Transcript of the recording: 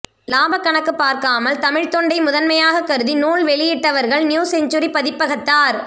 லாபக் கணக்குப் பார்க்காமல் தமிழ்த் தொண்டை முதன்மையாகக் கருதி நூல் வெளியிட்டவர்கள் நியூ செஞ்சுரி பதிப்பகத்தார்